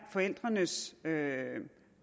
forældrenes